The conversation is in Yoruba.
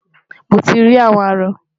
Mo ti rí àwọn arọ.